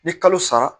Ni kalo sara